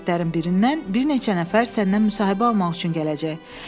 Qəzetlərin birindən bir neçə nəfər səndən müsahibə almaq üçün gələcək.